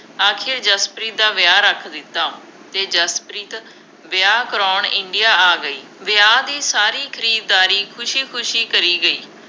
ਆਖਿਰ ਜਸਪ੍ਰੀਤ ਦਾ ਵਿਆਹ ਰੱਖ ਦਿੱਤਾ ਅਤੇ ਜਸਪ੍ਰੀਤ ਵਿਆਹ ਕਰਾਉਣ India ਆ ਗਈ, ਵਿਆਹ ਦੀ ਸਾਰੀ ਖਰੀਦਦਾਰੀ ਖੁਸ਼ੀ ਖੁਸ਼ੀ ਕਰੀ ਗਈ।